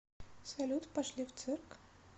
салют пошли в цирк